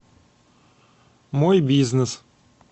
мой бизнес